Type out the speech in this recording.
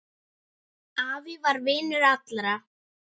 Afi var vinur allra.